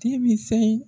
Denmisɛn